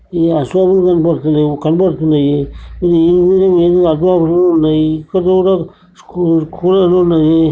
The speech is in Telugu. ఇయ్యి అసల్ కి కనపడతలేవ్ కనబడుతున్నాయ్. కూలర్ లు ఉన్నయి.